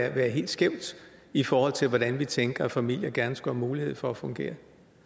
at være helt skævt i forhold til hvordan vi tænker at familier gerne skulle have mulighed for at fungere